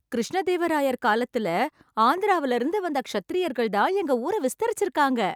கிருஷ்ணதேவராயர் காலத்துல ஆந்திராவுல இருந்து வந்த க்ஷத்திரியர்கள்தான் எங்க ஊரை விஸ்தரிச்சுருக்காங்க.